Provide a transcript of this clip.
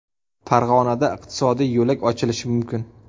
Farg‘onada iqtisodiy yo‘lak ochilishi mumkin.